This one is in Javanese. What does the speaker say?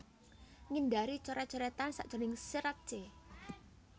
Ngindari coret coretan sajroning serat c